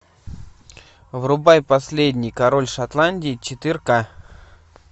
врубай последний король шотландии четыре ка